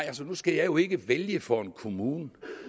altså nu skal jeg jo ikke vælge for en kommune